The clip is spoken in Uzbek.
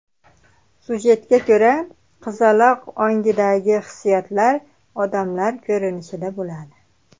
Sujetga ko‘ra, qizaloq ongidagi hissiyotlar odamlar ko‘rinishida bo‘ladi.